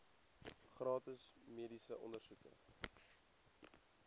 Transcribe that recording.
gratis mediese ondersoeke